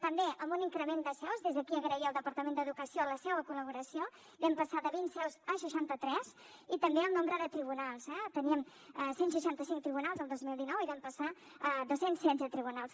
també amb un increment de seus des d’aquí agrair al departament d’educació la seva col·laboració vam passar de vint seus a seixanta tres i també el nombre de tribunals eh teníem cent i seixanta cinc tribunals el dos mil dinou i vam passar a dos cents i setze tribunals